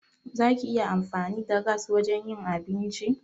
Za ki iya amfani da gas wajen yin abinci?